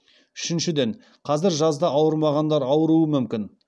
үшіншіден қазір жазда ауырмағандар ауыруы мүмкін